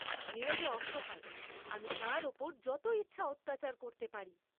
নীরজা অসহায়, আমি তার উপর যত ইচ্ছা অত্যাচার করতে পারি।